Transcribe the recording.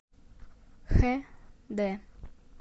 хэ дэ